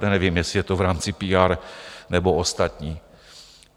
To nevím, jestli je to v rámci PR, nebo ostatní.